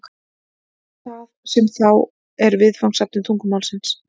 hvað er það sem þá er viðfangsefni tungumálsins